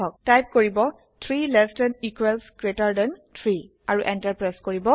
type কৰিব 3 less than equals greater than 3 আৰু enter press কৰিব